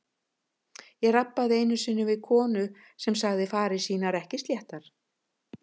Ég rabbaði einu sinni við konu sem sagði farir sínar ekki sléttar.